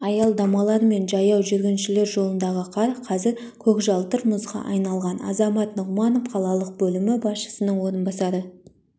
аялдамалар мен жаяу жүргіншілер жолындағы қар қазір көкжалтыр мұзға айналған азамат нығманов қалалық бөлімі басшысының орынбасары